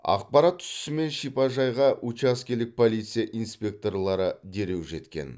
ақпарат түсісімен шипажайға учаскелік полиция инспекторлары дереу жеткен